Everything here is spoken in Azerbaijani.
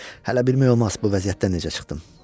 Hələ bilmək olmaz bu vəziyyətdən necə çıxdım.